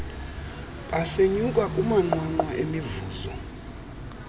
besenyuka kumanqwanqwa emivuzo